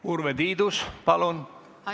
Urve Tiidus, palun!